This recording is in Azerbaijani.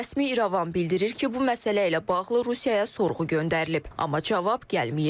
Rəsmi İrəvan bildirir ki, bu məsələ ilə bağlı Rusiyaya sorğu göndərilib, amma cavab gəlməyib.